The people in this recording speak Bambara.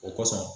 O kɔsɔn